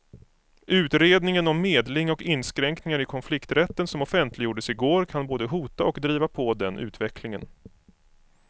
Utredningen om medling och inskränkningar i konflikträtten som offentliggjordes i går kan både hota och driva på den utvecklingen.